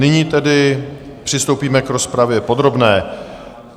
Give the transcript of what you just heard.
Nyní tedy přistoupíme k rozpravě podrobné.